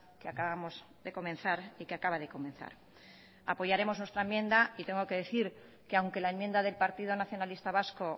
que acabamos de comenzar y que acaba de comenzar apoyaremos nuestra enmienda y tengo que decir que aunque la enmienda del partido nacionalista vasco